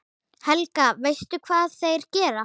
Helga: Veistu hvað þeir gera?